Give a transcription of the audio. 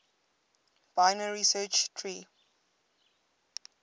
binary search tree